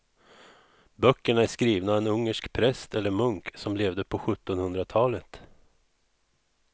Böckerna är skrivna av en ungersk präst eller munk som levde på sjuttonhundratalet.